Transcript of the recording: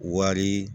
Wari